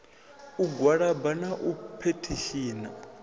u gwalaba na u phethishina